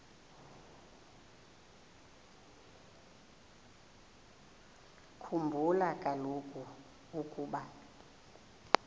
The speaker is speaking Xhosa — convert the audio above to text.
khumbula kaloku ukuba